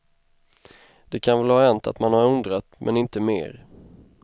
Det kan väl ha hänt att man har undrat, men inte mer.